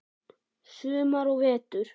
Sumar og vetur.